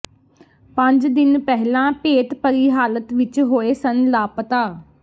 ਪੰਜ ਦਿਨ ਪਹਿਲਾਂ ਭੇਤਭਰੀ ਹਾਲਤ ਵਿੱਚ ਹੋਏ ਸਨ ਲਾਪਤਾ